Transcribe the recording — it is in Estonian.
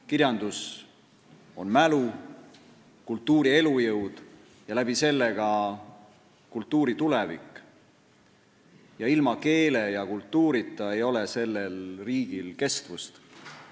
Kirjandus on mälu, kultuuri elujõud ja läbi selle ka kultuuri tulevik – ilma keele ja kultuurita ei ole sellel riigil kestvust.